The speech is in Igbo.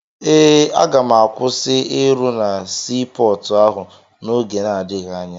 Eh, aga m akwụsị ịrụ na sii pọọtụ ahụ n'oge na-adịghị anya.